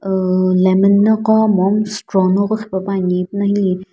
uhh lemon noqo mom straw noqo qhipepuani ipuna hili --